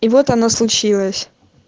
и вот она случилась